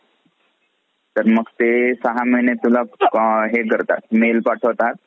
जुल्फिकारने खानने ताब्यात घेतला. आणि मु~ मुघल शासक औरंगजेबने नेराईगड किल्ल्याचे नाव बदलवून इस्लामगड,